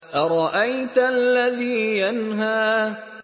أَرَأَيْتَ الَّذِي يَنْهَىٰ